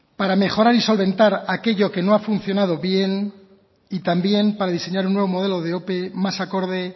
para mejorar y solventar aquello que no ha funcionado bien y también para diseñar un nuevo modelo de ope más acorde